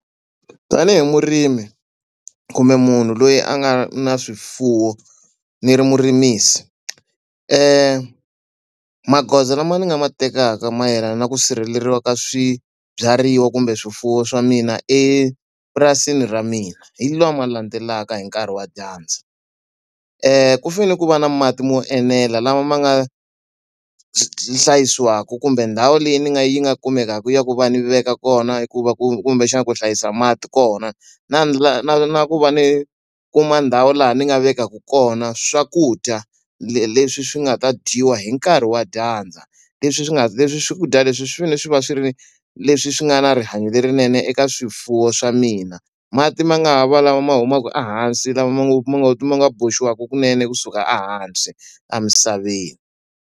Tanihi murimi kumbe munhu loyi a nga na swifuwo ni ri murimisi, magoza lama ni nga ma tekaka mayelana na ku sirheleriwa ka swibyariwa kumbe swifuwo swa mina epurasini ra mina hi lama landzelaka hi nkarhi wa dyandza. Ku fanele ku va na mati mo enela lama ma nga hlayisiwaka kumbe ndhawu leyi ni nga yi nga kumekaka ya ku va ni veka kona i ku va ku kumbexana ku hlayisa mati kona. Na na na na ku va ni kuma ndhawu laha ni nga vekaka kona swakudya leswi swi nga ta dyiwa hi nkarhi wa dyandza, leswi swi nga leswi swakudya leswi swi fanele swi va swi ri leswi swi nga na rihanyo lerinene eka swifuwo swa mina. Mati ma nga ha va lawa ma humaka ehansi lama ma ngo ma ngo ma nga boxiwaka kunene kusuka ehansi emisaveni.